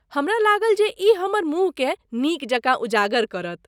हमरा लागल जे ई हमर मुँहकेँ नीकजकाँ उजागर करत।